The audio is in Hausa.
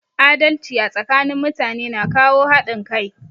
Adalci a tsakanin mutane na kawo haɗin kai